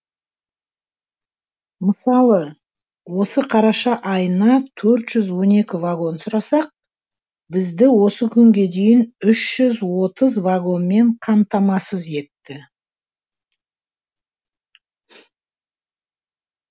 мысалы осы қараша айына төрт жүз он екі вагон сұрасақ бізді осы күнге дейін үш жүз отыз вагонмен қамтамасыз етті